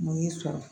Mun y'i sɔrɔ